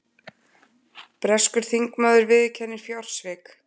Breskur þingmaður viðurkennir fjársvik